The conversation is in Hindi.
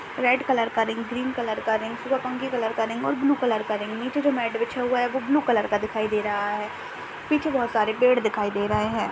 रेड कलर का रिंग ग्रीन कलर का रिंग व पंखे कलर का रिंग और ब्लू कलर का रिंग नीचे जो मैट बिच्छा हुआ है वो ब्लू कलर का दिखाई दे रहा है पीछे बहुत सारे पेड़ दिखाई दे रहे है।